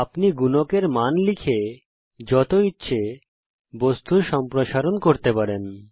আপনি গুণকের মান লিখে যত ইচ্ছে বস্তুর সম্প্রসারন করতে পারেন